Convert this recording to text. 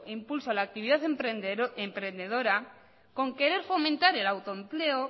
impulso a la actividad emprendedora con querer fomentar el autoempleo